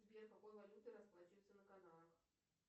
сбер какой валютой расплачиваются на канарах